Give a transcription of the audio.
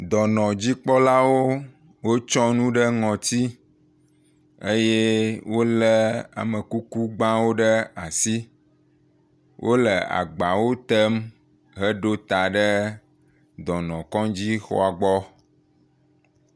Dɔnɔdzikpɔlawo wotsɔ nu ɖe ŋɔtsi eye wole amekukugbawo ɖe asi. Wole agbawo tem heɖo ta ɖe dɔnɔkɔdzixɔ gbɔ.